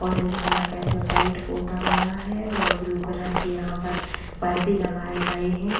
Orange colour का इसमें paint होता गया है और ब्लू कलर के यहाँ परदे लगाए गए हैं।